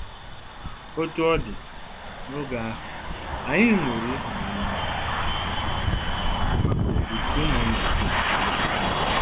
Otú ọ dị, n'otu oge ahụ, anyị 'nwere ịhụnanya maka maka òtù ụmụnna dum.